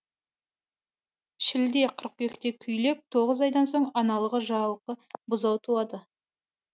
шілде қыркүйекте күйлеп тоғыз айдан соң аналығы жалқы бұзау туады